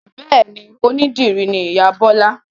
Bẹ́ẹ̀ni, onídìrí ni ìyá Bọ́la